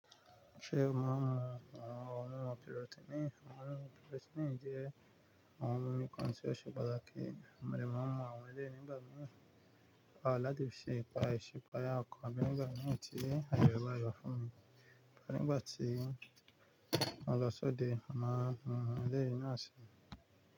Ṣé o ń máa mu ohun mímu pirotiini? Ohun mímu pirotiini jẹ́ ohun mímu kan tí oṣe pàtàkì, mo dẹ̀ máa ń mu àwọn eléyìí ní gbámì láti fi iṣe ìṣípayá ọkàn mi nígbà tí àyè e bá yọ fún mi. Rárá, nígbà tí mo lọ sí òde, mo màá mu eléyìí náà síi.